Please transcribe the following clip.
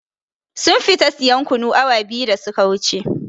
Sun fita sayan kunu awa biyu da su ka wuce